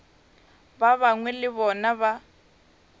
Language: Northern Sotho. ba bangwe le bona ba